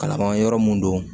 Kalan yɔrɔ mun don